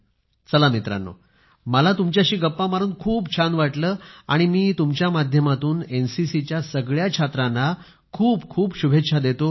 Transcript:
चला मित्रांनो मला तुमच्याशी गप्पा मारून खूप छान वाटलं आणि मी तुमच्या माध्यमातून एनसीसीच्या सगळ्या छात्रांना खूप खूप शुभेच्छा देतो